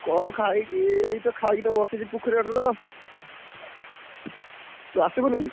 କଣ ଖାଇଛି ଏଇତ ଖାଇକି ତ ବସିଛି ପୋଖରୀ ଗାଡରେ, ତୁ ଆସିବୁନି କି?